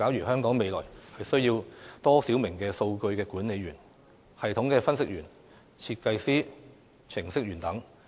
香港未來需要多少名數據管理員、系統分析員、設計師、程式員等？